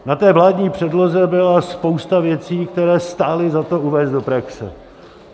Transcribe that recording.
Na té vládní předloze byla spousta věcí, které stálo za to uvést do praxe.